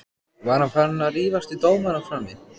Var hann farinn að rífast við dómarana frammi?